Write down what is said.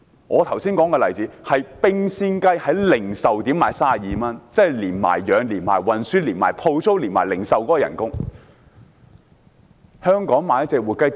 我剛才所說的例子，是冰鮮雞在零售點可以賣32元，而成本是包括飼養、運輸、鋪租和售賣員的工資。